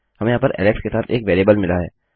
हमें यहाँ पर एलेक्स के साथ एक वेरिएबल मिला है